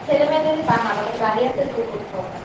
ছেলে মেয়েদের কে তা না তাদের guardian দের কেও করতে হবে